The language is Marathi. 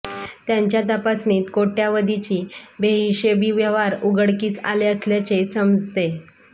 त्यांच्या तपासणीत कोट्यावधीची बेहिशेबी व्यवहार उघडकीस आले असल्याचे समजते